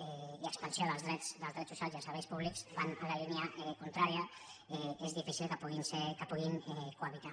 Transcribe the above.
i expansió dels drets socials i els serveis públics que van en la línia contrària és difícil que puguin cohabitar